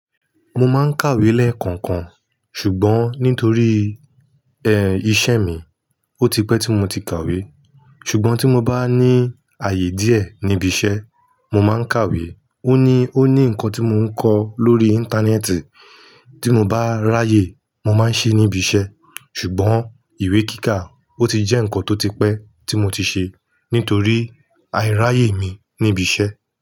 Mo máa ń kàwé lẹ́ẹ̀kọ̀kan, ṣùgbọ́n nítorí, iṣẹ́ mi, ó ti pẹ́ tí mo ti kàwé. Ṣùgbọ́n tí mo bá ní ààyè díẹ̀ níbi iṣẹ́, mo máa ń kàwé. Ó ní, ó ní nǹkan tí mo ń kọ lórí Íńtánẹ́ẹ̀tì, tí mo bá ráyè, mo máa ń ṣe níbi iṣẹ́. Ṣùgbọ́n ìwé kíkà, ó ti jẹ́ nǹkan tó ti pẹ́ tí mo ti ṣe, nítorí àìráyè mi níbi iṣẹ́.